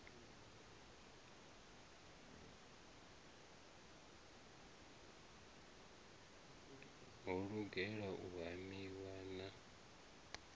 ho lugela u hamiwa na